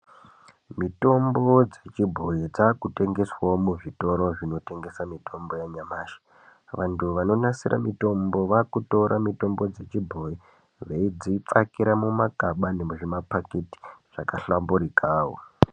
Mitombo dzechibhoyi dzakutengeswawo muzvitoro zvinotengesa mitombo yanyamashi. Vantu vanonasira mitombo vakutora mitombo dzechibhoyi veidzipfakira mumagaba nemuzvimaphakiti zvakahlamburikawo.